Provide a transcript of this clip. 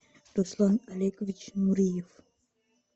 руслан олегович нуриев